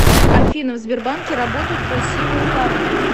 афина в сбербанке работают красивые парни